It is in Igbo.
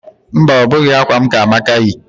Mba, ọ bụghị akwa m ka Amaka yi